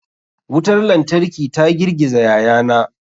Wutar lantarki ta girgiza yayana.